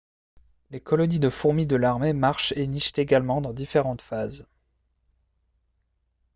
les colonies de fourmis de l'armée marchent et nichent également dans différentes phases